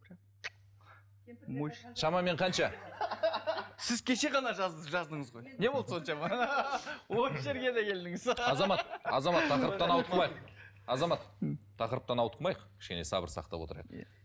шамамен қанша сіз кеше ғана жаздыңыз ғой не болды соншама осы жерге де келдіңіз азамат азамат тақырыптан ауытқымайық азамат тақырыптан ауытқымайық кішкене сабыр сақтап отырайық иә